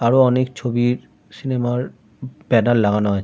আরো অনেক ছবির সিনেমা র ব্যানার লাগানো আছে।